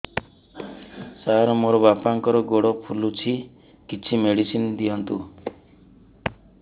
ସାର ମୋର ବାପାଙ୍କର ଗୋଡ ଫୁଲୁଛି କିଛି ମେଡିସିନ ଦିଅନ୍ତୁ